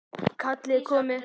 Kallið er komið.